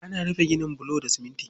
Ana iya rufe ginin bulu da shifci.